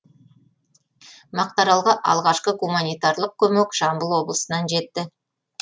мақтааралға алғашқы гуманитарлық көмек жамбыл облысынан жетті